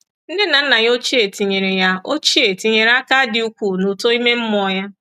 Nne na nna ya ochie tinyere ya ochie tinyere aka dị ukwuu n’uto ime mmụọ ya.